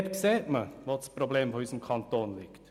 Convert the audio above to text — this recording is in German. Dort sieht man, wo das Problem unseres Kantons liegt.